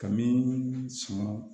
Ka min sɔn